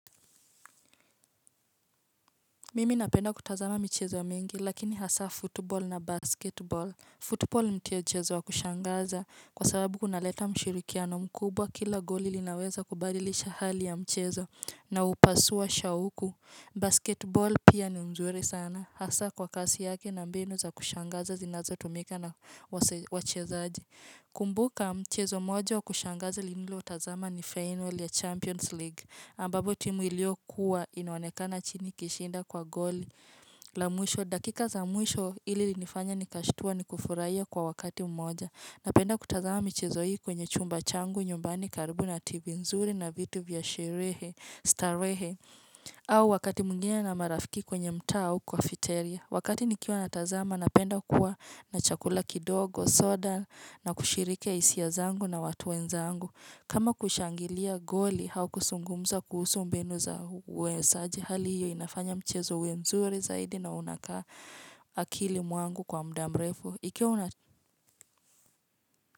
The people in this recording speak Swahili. Mimi napenda kutazama michezo mingi lakini hasa football na basketball Football ni mchezo wa kushangaza kwa sababu kuna leta mshirikiano mkubwa kila goli linaweza kubadilisha hali ya mchezo na hupasua shauku Basketball pia ni nzuri sana hasa kwa kasi yake na mbinu za kushangaza zinazo tumika na wachezaji kumbuka mchezo mmoja kushangaza niliotazama ni final ya Champions League ambapo timu iliyokuwa inaonekana chini ikishinda kwa goli la mwisho, dakika za mwisho ilinifanya nikashtua ni kufurahia kwa wakati mmoja Napenda kutazama mchezo hii kwenye chumba changu nyumbani karibu na tv nzuri na vitu vya sherehe starehe au wakati mwingine na marafiki kwenye mtaa au cafeteria, Wakati nikiwa natazama, napenda kuwa na chakula kidogo, soda, na kushiriki hisia zangu na watu wenzangu. Kama kushangilia goli, au kuzungumza kuhusu mbinu za uwezaji, hali hiyo inafanya mchezo uwe mzuri zaidi na unakaa akili mwangu kwa mudamrefu.